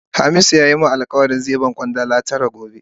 Hamisu ya yi min alkawali zai ba ni Kwandala tara gobe.